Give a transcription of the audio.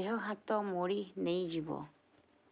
ଦେହ ହାତ ମୋଡି ନେଇଯିବ